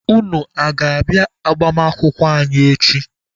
Unu aga-abịa agbamakwụkwọ anyị echi?